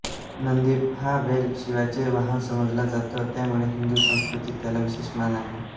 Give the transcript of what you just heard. नंदी हा बैल शिवाचे वाहन समजला जातो त्यामुळे हिंदू संस्कृतीत त्याला विशेष मान आहे